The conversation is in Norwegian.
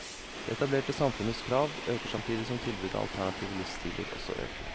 Det etablerte samfunnets krav øker samtidig som tilbudet av alternative livsstiler også øker.